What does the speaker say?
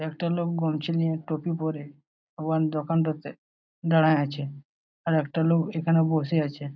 একটা লোক গনচি নিয়ে টুপি পরে ওহান দোকানটোতে দাঁড়ায় আছে আর একটা লোক এখানে বসে আছে।